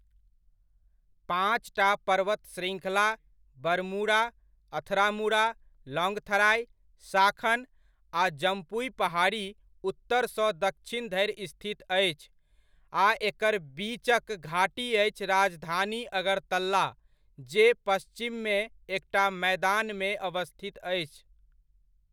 पाँचटा पर्वत श्रृङ्खला बरमुरा, अथरामुरा, लॉन्गथराइ, शाखन आ जम्पुइ पहाड़ी उत्तरसंँ दक्षिण धरि स्थित अछि आ एकर बीचक घाटी अछि राजधानी अगरतला, जे पच्छिममे एकटा मैदानमे अवस्थित अछि।